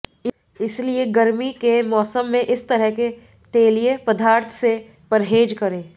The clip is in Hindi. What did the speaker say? इसलिए गर्मी के मौसम में इस तरह के तेलिए पदार्थ से परहेज करें